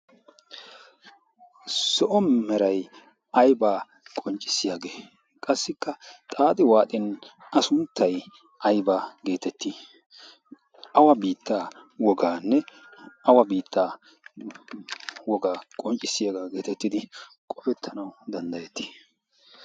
zo'o meray aybba qonccossiyaage? qassikka xaaxxi waaxin a sunttay aybba getetti ? awa biitta woganne awa biittaa wogaa qonccissiyaaga getettidi qofetanaw danddayetti?